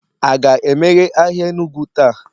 a ga-emeghe ahịa Enugu taa?